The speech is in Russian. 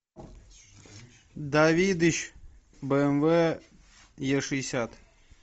давидыч бмв е шестьдесят